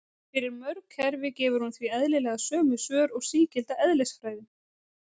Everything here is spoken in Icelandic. Fyrir mörg kerfi gefur hún því eðlilega sömu svör og sígilda eðlisfræðin.